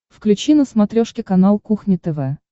включи на смотрешке канал кухня тв